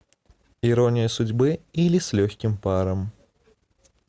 ирония судьбы или с легким паром